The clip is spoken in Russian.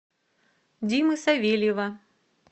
димы савельева